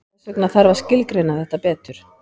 Þess vegna þarf að skilgreina þetta betur.